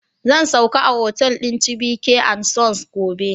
Zan sauka a hotal din Chibyke and Sons gobe